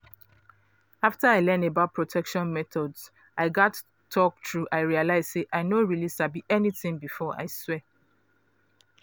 after i learn about protection methods i gatz talk true i realize say i no really sabi anything before i swear